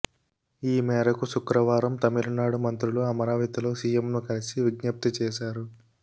ఈ మేరకు శుక్రవారం తమిళనాడు మంత్రులు అమరావతిలో సీఎంను కలిసి విజ్ఞప్తి చేశారు